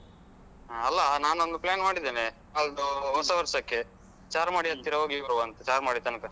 ಹ ಅಲ್ಲ ನಾನೊಂದು plan ಮಾಡಿದ್ದೇನೆ ನಾಲ್ದು ಹೊಸ ವರ್ಷಕ್ಕೆ ಚಾರ್ಮಾಡಿ ಹತ್ತಿರ ಹೋಗಿ ಬರುವಾಂತ ಚಾರ್ಮಾಡಿ ತನಕ.